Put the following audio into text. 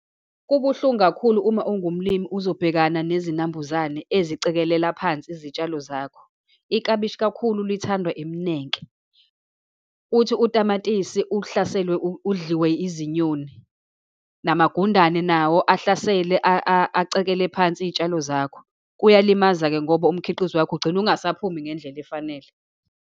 Kubuhlungu kakhulu uma ungumlimi uzobhekana nezinambuzane ezicekelela phansi izitshalo zakho. Iklabishi kakhulu lithandwa iminenke. Uthi utamatisi uhlaselwe, udliwe izinyoni, namagundane nawo, ahlasele acekele phansi iy'tshalo zakho. Kuyalimaza-ke ngoba umkhiqizo wakho ugcina ungasaphumi ngendlela efanele.